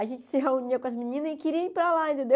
A gente se reunia com as meninas e queria ir para lá, entendeu?